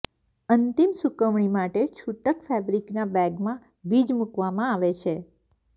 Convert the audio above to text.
અંતિમ સૂકવણી માટે છૂટક ફેબ્રિકના બેગમાં બીજ મૂકવામાં આવે છે